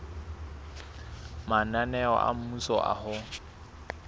mananeo a mmuso a ho